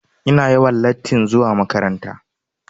Ina yawan latti zuwa makaranta.